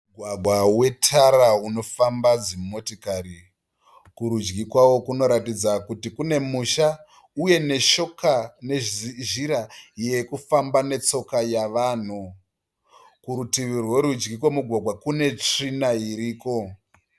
Mugwagwa wetara unofamba dzimotikari. Kurudyi kwawo kunoratidza kuti kune musha uye kune nzira yevanhu yekufamba netsoka. Kurutivi rworudyi kwemugwagwa kune tsvina iriko.